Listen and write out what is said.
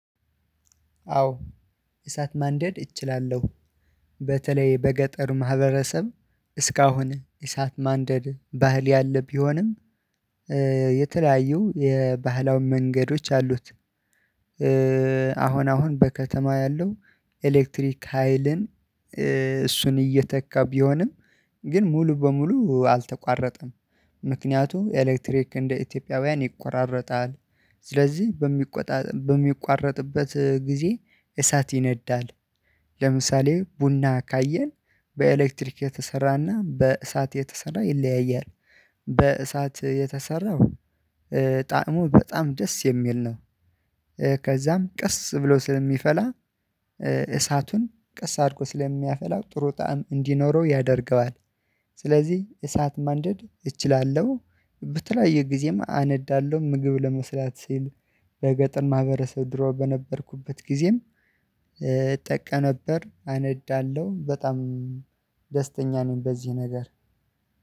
አዎ እሳት ማንደድ እችላለሁ። በተለይ በገጠሩ ማህበረሰብ እስካሁን እሳት ማንደድ ባህል ያለ ቢሆንም የተለያዩ የባህላዊ መንገዶች አሉት። አሁን አሁን በከተማ ያለው ኤሌክትሪክ ሀይልን እሱን እየተካ ቢሆንም ግን ሙሉ በሙሉ አልተቋረጠም። ምክንያቱ ኤሌክትሪክ እንደ ኢትዮጵያውያን ይቆራረጣል። ስለዚህ በሚቆጣ በሚቋረጥበት ጊዜ እሳት ይነዳል። ለምሳሌ ቡና ካየን በኤሌክትሪክ የተሰራና በእሳት የተሰራ ይለያያል። በእሳት የተሰራው ጣዕሙ በጣም ደስ የሚል ነው። ከዛም ቀስ ብሎ ስለሚፈላ እሳቱን ቀስ አድርጎ ስለሚያፈላው ጥሩ ጣዕም እንዲኖረው ያደርገዋል። ስለዚህ እሳት ማንደድ እችላለሁ። የጊዜም አነዳለሁ ምግብ ለመስራት ስል በገጠር ማህበረሰብ ድሮ በነበርኩበት ጊዜም እጠቀም ነበር አነዳለሁ በጣም ደስተኛ ነኝ። በዚህ ነገር